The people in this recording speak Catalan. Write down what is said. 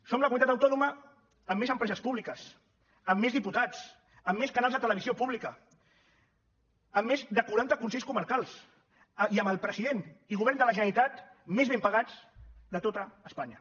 som la comunitat autònoma amb més empreses públiques amb més diputats amb més canals de televisió pública amb més de quaranta consells comarcals i amb el president i govern de la generalitat més ben pagats de tot espanya